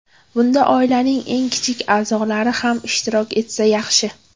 Bunda oilaning eng kichik a’zolari ham ishtirok etsa yaxshi.